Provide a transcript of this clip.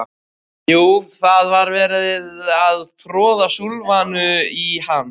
Jú, það er verið að troða súlfanu í hann